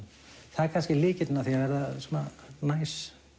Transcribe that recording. það er kannski lykillinn að því að verða svona næs